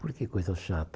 Por que coisa chata?